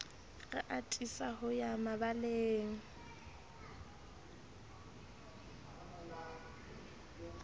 re atisa ho ya mabaleng